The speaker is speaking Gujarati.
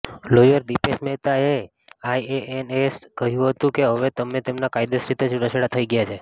લોયર દિપેશ મેહતાએ આઈએએનએસને કહ્યુ હતુ કે હવે તેમના કાયદેસર રીતે છુટાછેડા થઈ ગયા છે